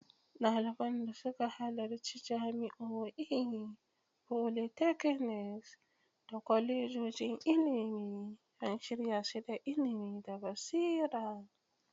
Daliban da suka halarci jami'o'i, polytechnics, da kwalejojin ilimi an shirya su da ilimi da basira.